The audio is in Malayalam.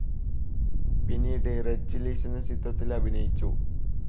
പിന്നീട് റെഡ്‌ ചില്ലീസ് എന്ന ചിത്രത്തിൽ അഭിനയിച്ചു.